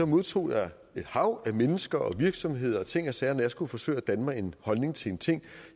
modtog jeg et hav af mennesker og virksomheder og ting og sager når jeg skulle forsøge at danne mig en holdning til en ting